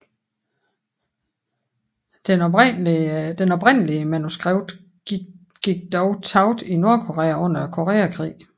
Det oprindelige manuskript gik dog tabt i Nordkorea under Koreakrigen